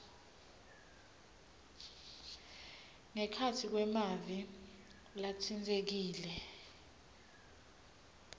ngekhatsi kwemave latsintsekile